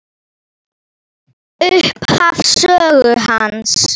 Ég þekki þessa menn.